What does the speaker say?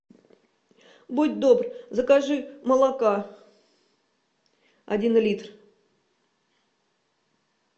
будь добр закажи молока один литр